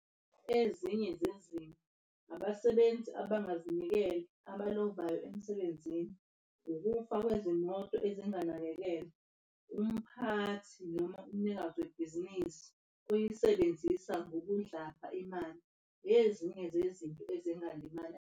Ezinye zezinto abasebenzi abangazinikeli abalovayo emsebenzini, ukufa kwezimoto ezinganakekelwa, umphathi noma umnikazi webhizinisi uyisebenzisa ngobudlapha imali. Ezinye zezinto ezingalimaza.